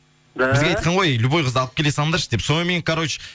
да бізге айтқан ғой любой қызды алып келе салыңдаршы деп сонымен короче